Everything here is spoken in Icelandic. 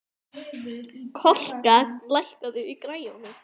Kolka, lækkaðu í græjunum.